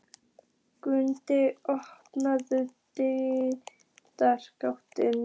Gunnharða, opnaðu dagatalið mitt.